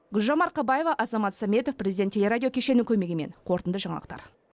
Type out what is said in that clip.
гүлжан марқабаева азамат сәметов президент телерадио кешені көмегімен қорытынды жаңалықтар